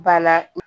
Ba la